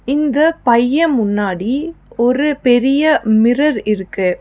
இந்த பைய முன்னாடி ஒரு பெரிய மிரர் இருக்கு.